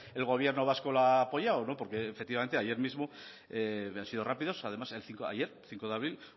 el gobierno vasco la ha apoyado porque efectivamente ayer mismo han sido rápidos además ayer cinco de abril